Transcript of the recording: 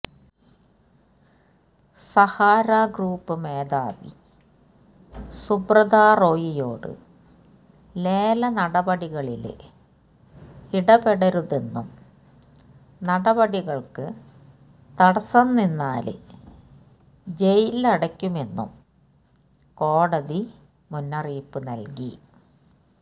Sahara group മേധാവി സുബ്രതാ റോയിയോട് ലേലനടപടികളില് ഇടപെടരുതെന്നും നടപടികള്ക്ക് തടസ്സംനിന്നാല് ജയിലിലടയ്ക്കുമെന്നും കോടതി മുന്നറിയിപ്പ് നല്കി